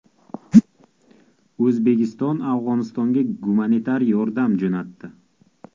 O‘zbekiston Afg‘onistonga gumanitar yordam jo‘natdi.